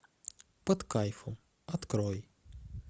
под кайфом открой